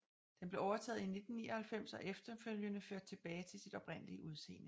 Den blev overtaget i 1999 og efterfølgende ført tilbage til sit oprindelige udseende